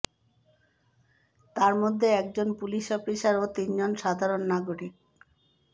তারমধ্যে একজন police officer ও তিনজন সাধারণ নাগরিক